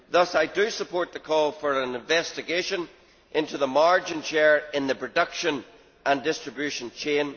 Thus I support the call for an investigation into the margin share in the production and distribution chain.